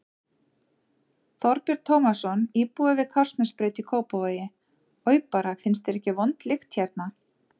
Þorbjörn Tómasson, íbúi við Kársnesbraut í Kópavogi: Oj bara, finnst þér ekki vond lykt hérna?